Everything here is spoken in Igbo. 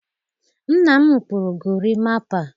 Nna m kpụrụ gorimapa.